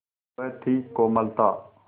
वह थी कोमलता